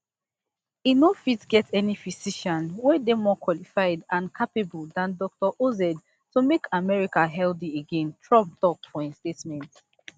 e no fit get any physician wey dey more qualified and capable dan dr oz to make america healthy again trump tok for statement